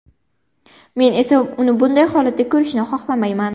Men esa uni bunday holatda ko‘rishni xohlamayman.